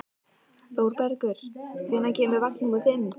Þorbergur, hvenær kemur vagn númer fimm?